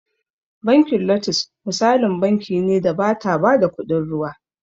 Bankin lotus misalin banki ne da bata ba da kuɗin ruwa